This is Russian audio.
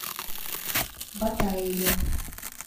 батаеве